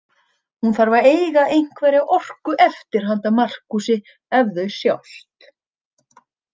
Hún þarf að eiga einhverja orku eftir handa Markúsi ef þau sjást.